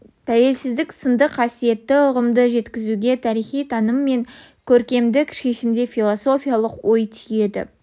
тәуелсіздік сынды қасиетті ұғымды жеткізуге тарихи таным мен көркемдік шешімде философиялық ой түйеді